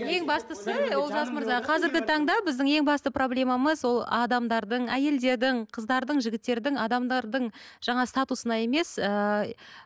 ең бастысы олжас мырза қазіргі таңда біздің ең басты проблемамыз ол адамдардың әйелдердің қыздардың жігіттердің адамдардың жаңағы статусына емес